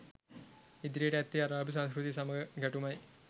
ඉදිරියට ඇත්තේ අරාබි සංස්කෘතිය සමග ගැටුමයි